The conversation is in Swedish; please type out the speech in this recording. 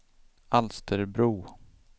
Alsterbro